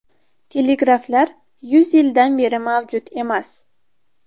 Telegraflar yuz yildan beri mavjud emas.